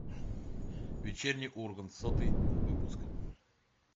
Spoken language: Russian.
вечерний ургант сотый выпуск